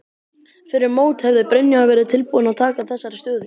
Fyrir mót hefði Brynjar verið tilbúinn að taka þessari stöðu?